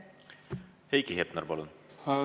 Heiki Hepner, palun!